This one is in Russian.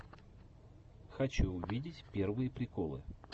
хочу увидеть первые приколы